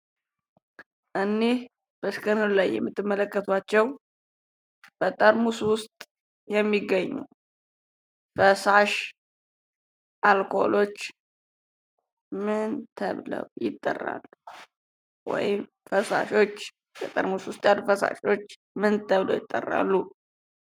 እኒህ በስክሪኑ የምትመለከቷቸው በጠርሙስ ውስጥ የሚገኙ ፈሳሽ አልኮሎች ምን ተብለው ይጠራሉ? ወይም ፈሳሾች በጠርሙስ ውስጥ ያሉ ፈሳሾች ምን ተብለው ይጠራሉ?